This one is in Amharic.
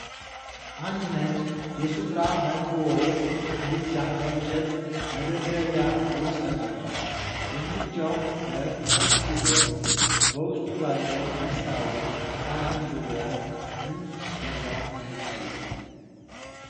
አንድ ነጭ የሱፕራ ማይክሮዌቭ ምድጃ በእንጨት መደርደሪያ ውስጥ ተቀምጧል። የምድጃው በር ክፍት ሲሆን፣ በውስጡ ባለው መስታወት ሳህን ዙሪያ ምንም ነገር አይታይም።